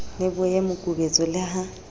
le boye mokubetso le ha